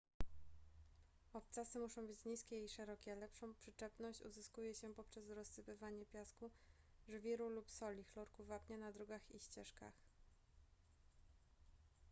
obcasy muszą być niskie i szerokie. lepszą przyczepność uzyskuje się poprzez rozsypywanie piasku żwiru lub soli chlorku wapnia na drogach i ścieżkach